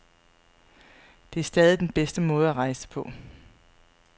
Det er stadig den bedste måde at rejse på.